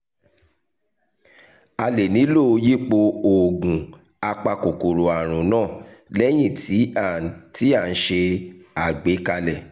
a lè nílò yípo oògùn apakòkòrò àrùn náà lẹ́yìn tí à ń tí à ń ṣe àgbékalẹ̀